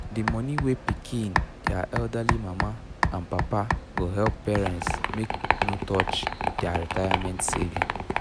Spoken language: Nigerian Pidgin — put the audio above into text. d money wey pikin dia elderly mama and papa go help parents make no touch their retirement saving